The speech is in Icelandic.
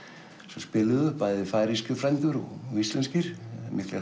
sem spiluðu bæði færeyskir frændur og íslenskir miklir